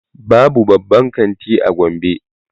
Babu babban kanti a gombe